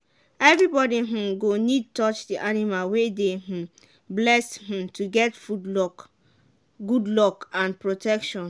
everybody um go need touch the animal wey dey um blessed um to get good luck and protection.